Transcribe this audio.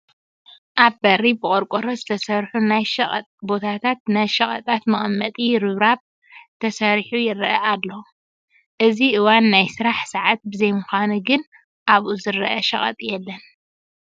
ኣብ በሪ ብቖርቆሮ ዝተሰርሑ ናይ ሸቕጥ ቦታታት ናይ ሸቐጣት መቐመጢ ርብራብ ተሰሪሑ ይርአ ኣሉ፡፡ እዚ እዋኑ ናይ ስራሕ ሰዓት ብዘይምዃኑ ግን ኣብኡ ዝርአ ሸቐጥ የለን፡፡